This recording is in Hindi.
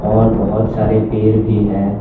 और बहुत सारे पेड़ भी हैं।